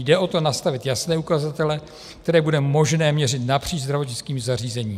- Jde o to nastavit jasné ukazatele, které bude možné měřit napříč zdravotnickým zařízením.